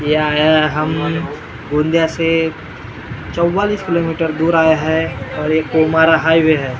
ये आया है हम गोंदिया से चव्वालिस किलोमीटर दूर आया है और हाईवे है ।